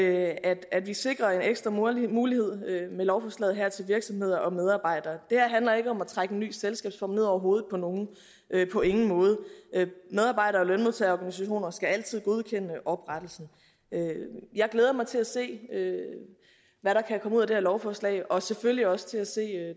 at at vi sikrer en ekstra mulighed mulighed med lovforslaget her til virksomheder og medarbejdere det her handler ikke om at trække en ny selskabsform ned over hovedet på nogen på ingen måde medarbejdere og lønmodtagerorganisationer skal altid godkende en oprettelse jeg glæder mig til at se hvad der kan komme ud af det her lovforslag og selvfølgelig også til at se